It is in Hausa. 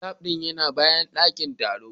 Lab din yana bayan dakin taro